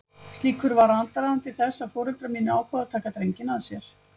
Slíkur var aðdragandi þess að foreldrar mínir ákváðu að taka drenginn að sér.